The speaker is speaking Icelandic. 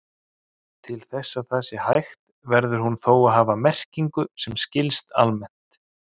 Til þess að það sé hægt verður hún þó að hafa merkingu sem skilst almennt.